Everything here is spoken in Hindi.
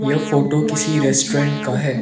यह फोटो किसी रेस्टोरेंट का है।